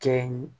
Kɛ ye